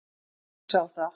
Hún sá það.